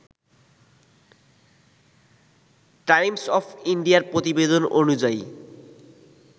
Times of ইন্ডিয়ার প্রতিবেদন অনুযায়ী